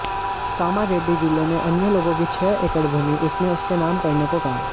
कामारेड्डी जिले में अन्य लोगों की छह एकड़ भूमि उसने उसके नाम करने को कहा